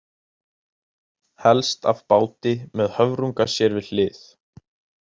Helst af báti, með höfrunga sér við hlið.